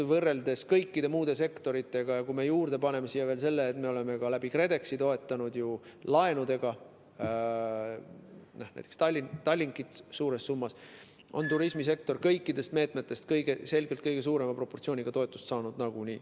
Võrreldes kõikide muude sektoritega, ja kui me paneme juurde siia veel selle, et me oleme ka KredExi kaudu toetanud ju suures summas laenudega näiteks Tallinkit, on turismisektor kõikidest meetmetest selgelt kõige suurema proportsiooniga toetust saanud nagunii.